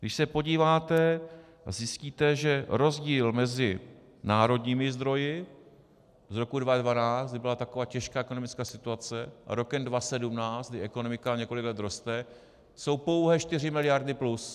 Když se podíváte, zjistíte, že rozdíl mezi národními zdroji z roku 2012, kdy byla taková těžká ekonomická situace, a rokem 2017, kdy ekonomika několik let roste, jsou pouhé 4 miliardy plus.